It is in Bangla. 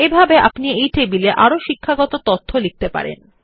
একইভাবে আপনি টেবিল এ আরো শিক্ষাগত তথ্য লিখতে পারেন